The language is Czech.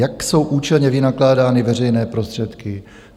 Jak jsou účelně vynakládány veřejné prostředky?